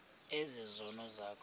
ezi zono zakho